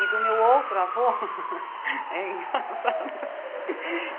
E do meu outro avô... É engraçado.